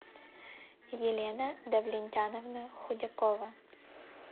елена давлетяновна худякова